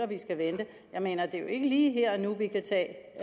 vi skal vente jeg mener det er jo ikke lige her og nu vi kan tage